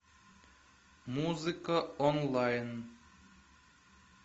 музыка онлайн